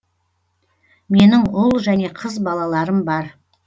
менің ұл және қыз балаларым бар